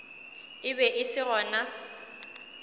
e be e se gona